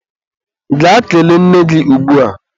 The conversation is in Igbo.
Gaa kelee nne gị ugbua!